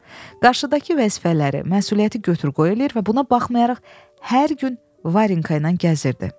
Qarşıdakı vəzifələri, məsuliyyəti götür-qoy eləyir və buna baxmayaraq hər gün Varenka ilə gəzirdi.